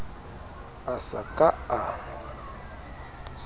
a sa ka a a